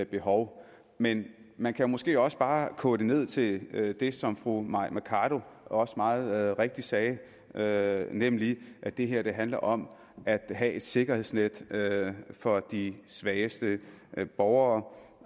behov men man kan måske også bare koge det ned til det det som fru mai mercado også meget rigtigt sagde sagde nemlig at det her handler om at have et sikkerhedsnet for de svageste borgere